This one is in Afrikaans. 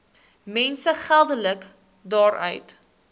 mense geldelik daaruit